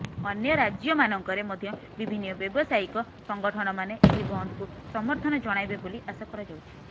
ଅନ୍ୟ ରାଜ୍ୟମାନଙ୍କରେ ମଧ୍ୟ ବିଭିନ୍ନ ବ୍ୟବସାୟିକ ସଂଗଠନମାନେ ଏହି ବନ୍ଦକୁ ସମର୍ଥନ ଜଣାଇବେ ବୋଲି ଆଶା କରାଯାଉଛି